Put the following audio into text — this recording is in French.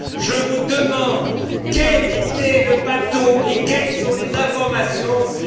Je vous demande quel était ce bateau et quelles sont les informations disponibles?